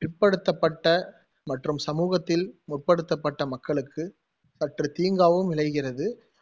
பிற்படுத்தப்பட்ட மற்றும் சமூகத்தில் முற்படுத்தப்பட்ட மக்களுக்கு சற்று தீங்காகவும் விளைகிறது